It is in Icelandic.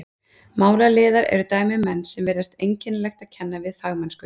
Málaliðar eru dæmi um menn sem virðist einkennilegt að kenna við fagmennsku.